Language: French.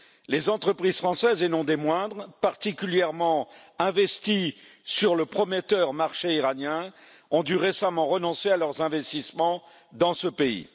Les entreprises françaises, et non des moindres, particulièrement investies sur le prometteur marché iranien, ont dû récemment renoncer à leurs investissements dans ce pays.